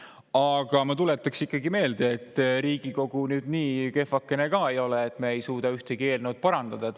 Aga ma tuletaks ikkagi meelde, et Riigikogu nüüd nii kehvakene ka ei ole, et me ei suuda ühtegi eelnõu parandada.